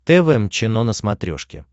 тэ вэ эм чено на смотрешке